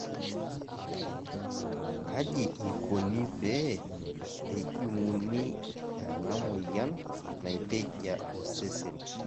kaji ikoni pee ejunguni enamoyian naitejia osesen/